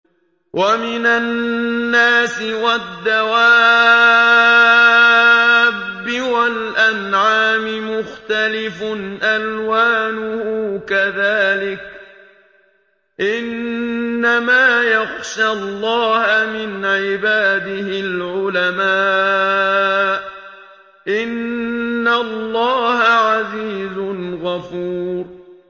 وَمِنَ النَّاسِ وَالدَّوَابِّ وَالْأَنْعَامِ مُخْتَلِفٌ أَلْوَانُهُ كَذَٰلِكَ ۗ إِنَّمَا يَخْشَى اللَّهَ مِنْ عِبَادِهِ الْعُلَمَاءُ ۗ إِنَّ اللَّهَ عَزِيزٌ غَفُورٌ